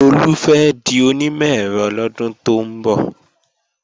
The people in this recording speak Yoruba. Lolú fẹ́ di onímọ̀-ẹ̀rọ lọ́dún tó ń bọ̀